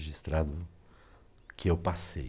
registrado o que eu passei.